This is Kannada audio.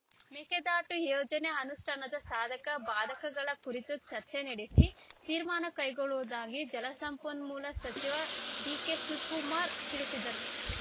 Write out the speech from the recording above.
ಮೇಕೆದಾಟು ಯೋಜನೆ ಅನುಷ್ಠಾನದ ಸಾಧಕ ಬಾಧಕಗಳ ಕುರಿತು ಚರ್ಚೆ ನಡೆಸಿ ತೀರ್ಮಾನ ಕೈಗೊಳ್ಳುವುದಾಗಿ ಜಲಸಂಪನ್ಮೂಲ ಸಚಿವ ಡಿಕೆಶಿವಕುಮಾರ್‌ ತಿಳಿಸಿದರು